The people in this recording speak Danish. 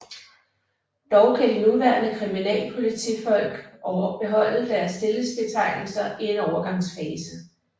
Dog kan de nuværende kriminalpolitifolk beholde deres stillingsbetegnelser i en overgangsfase